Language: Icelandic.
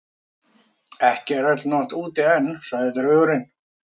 Ekki er úti öll nótt enn, sagði draugurinn.